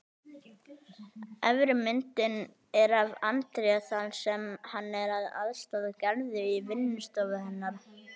Efri myndin er af André þar sem hann er að aðstoða Gerði í vinnustofu hennar.